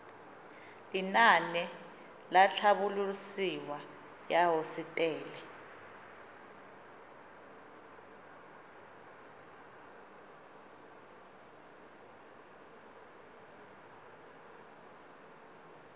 lenaane la tlhabololosewa ya hosetele